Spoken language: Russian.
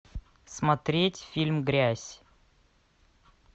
смотреть фильм грязь